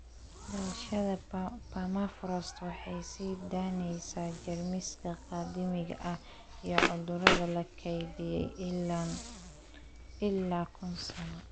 Dhalashada permafrost waxay sii daynaysaa jeermiska qadiimiga ah iyo cudurada la kaydiyay ilaa kun sano.